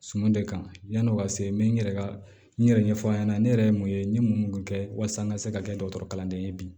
Suman de kan yani o ka se n bɛ n yɛrɛ ka n yɛrɛ ɲɛfɔ aw ɲɛna ne yɛrɛ ye mun ye n ye mun kɛ walasa n ka se ka kɛ dɔgɔtɔrɔ kalanden ye bi